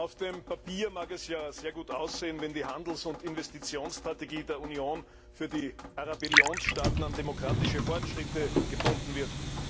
Auf dem Papier mag es ja sehr gut aussehen, wenn die Handels und Investitionsstrategie der Union für die Arabellion Staaten an demokratische Fortschritte gebunden wird.